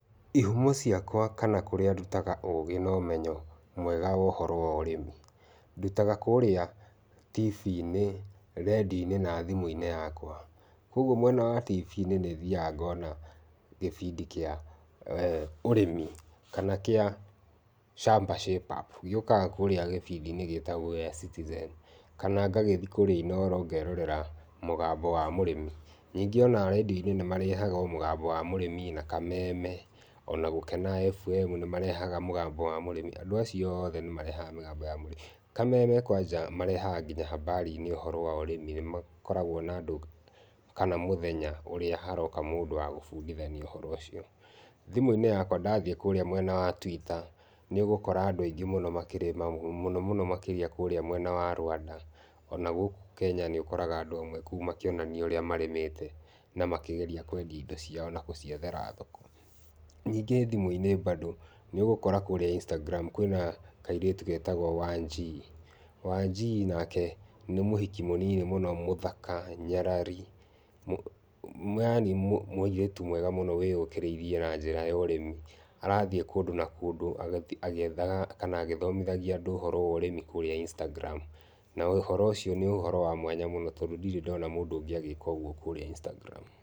Ihumo ciakwa kana kũrĩa ndutaga ũgĩ na ũmenyo mwega wa ũhoro wo ũrĩmi. Ndutaga kũrĩa tibiinĩ, rendio-inĩ na thimũ-inĩ yakwa. Kũoguo mwena wa tibii-inĩ nĩ thiaga ngona kĩbindi kĩa ũrĩmi kana kĩa Shamba Shape-up, gĩũkaga kũrĩa gĩbindi-inĩ gĩtagwo gĩa cĩtĩzeni kana ngagĩthiĩ kũrĩa inoro ngakĩrorera mũgambo wa mũrĩmi. Ningĩ ona rĩndio-inĩ nĩ marehaga o mũganmbo wa mũrĩmi na kameme ona gũkena ebu emu nĩmarehaga mũgambo wa mũrĩmi. Andũ acio othe nĩ marehaga mũgambo wa mũrĩmi. Kameme kwanja marehaga nginya hamarinĩ ũhoro wa ũrĩmi , nĩmakoragwo nandũ kana mũthenya ũrĩa haroka mũndũ wa gũbundithania ũhoro ũcio. Thimũ-inĩ yakwa ndathiĩ kũrĩa mwena wa twĩta, nĩũgũkora andũ aingĩ makĩrĩma mũno mũno makĩria kúrĩa mwena wa Rwanda ona gũkũ Kenya nĩũkora andũ amwe kũu makĩonania ũrĩa marĩmĩte na makĩgeria kwendia indo ciao na gũciethera thoko. Ningĩ thimũ-inĩ mbandũ nĩũgũkora kũrĩa incitangiramu kwĩna kairĩtu getagwo Wanjii. Wanjii nake nĩ mũhiki mũnini mũno, mũthaka, nyarari, yani mũirĩtu mwega mũno wĩyũkĩrĩirie na njĩra ya ũrĩmi. Arathiĩ kũndũ na kũndũ agĩethaga kana agĩthomithagia andũ ũhoro wa ũrĩmi kũrĩa Instagram na ũhoro ũcio nĩ ũhoro wa mwanya mũno tondũ ndirĩ ndona mũndũ ũngĩ agĩka ũguo kũrĩa Instagram .